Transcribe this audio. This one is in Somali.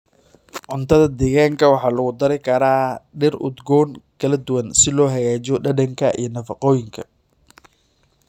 Cuntada deegaanka waxaa lagu dari karaa dhir udgoon kala duwan si loo hagaajiyo dhadhanka iyo nafaqooyinka.